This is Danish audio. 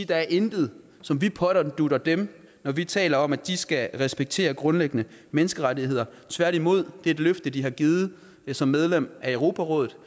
der er intet som vi pådutter dem når vi taler om at de skal respektere grundlæggende menneskerettigheder tværtimod er det et løfte de har givet som medlem af europarådet